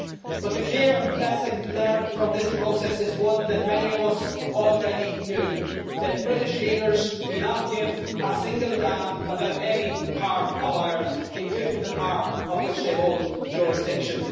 But the clear lesson learned from this process is one that many of us already knew, that British leaders do not give a single damn about any part of Ireland, including the part over which they hold jurisdiction.